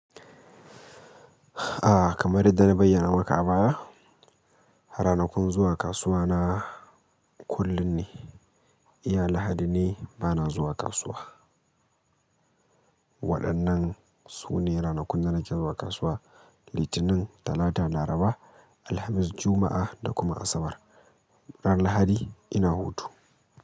A kaman yanda na bayyana maka a baya, ranakun zuwa kasuwa na kullum ne. Iya Lahadi ne bana zuwa kasuwa. Waɗannan su ne ranakun da nake zuwa kasuwa, Litinin, Talata, Laraba, Alhamis, Juma'a da kuma Asabar. Ran Lahadi ina hutu.